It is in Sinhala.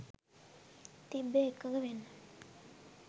තිබ්බේ එකඟ වෙන්න.